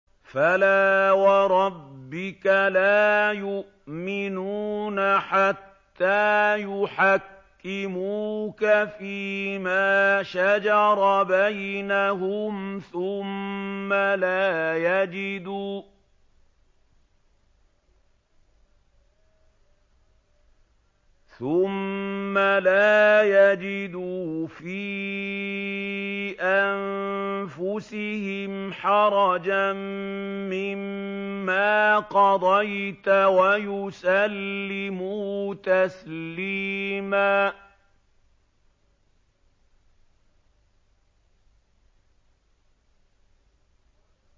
فَلَا وَرَبِّكَ لَا يُؤْمِنُونَ حَتَّىٰ يُحَكِّمُوكَ فِيمَا شَجَرَ بَيْنَهُمْ ثُمَّ لَا يَجِدُوا فِي أَنفُسِهِمْ حَرَجًا مِّمَّا قَضَيْتَ وَيُسَلِّمُوا تَسْلِيمًا